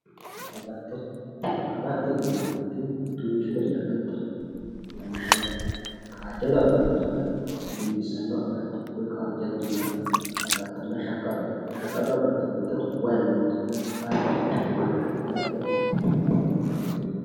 agatto agattote yineemoti duuchu dani agatto no lawishshaho kaajjado agattonna dinbissanno agatto woy kaajjadonna agattonna shaqqado agatto shaqqado agatto giddo way mittoho kaajjado agatto giddo haraqe.